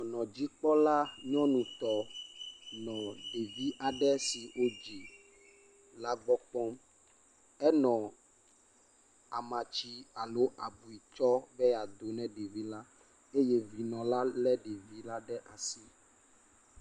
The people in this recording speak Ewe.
Dɔnɔdzikpɔla nyɔnutɔ nɔ ɖevi aɖe si wodzi la gbɔ kpɔm, enɔ amatsi alo abiu tsɔm be yeado na ɖevi la eye vinɔ la lé ɖevi la ɖe asi.